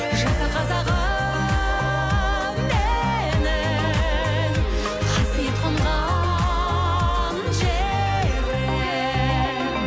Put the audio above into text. жаса қазағым менің қасиет қонған жерім